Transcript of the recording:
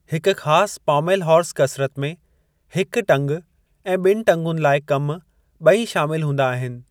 हिकु ख़ास pommel horse कसिरत में हिक टंग ऐं ॿिनि टंगुनि लाइ कम ॿई शामिल हूंदा आहिनि।